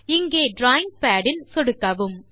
இங்கே drawing pad இல் சொடுக்கவும்